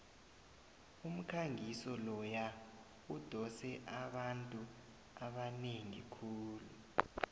umkhangiso loya udose abantu abanengi khulu